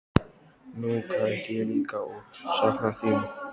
Nú græt ég líka og sakna þín.